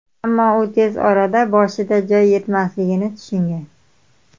Ammo u tez orada boshida joy yetmasligini tushungan.